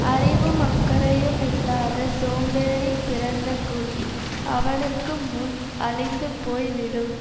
அறிவும் அக்கறையுமில்லாத சோம்பேறி பிறந்த குடி அவனுக்கு முன் அழிந்து போய் விடும்